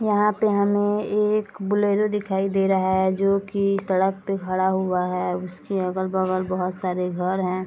यहाँ पे हमें एक बोलोरो दिखाई दे रहा है जो की सड़क पे खड़ा हुआ है उसके अगल-बगल बहोत सारे घर है।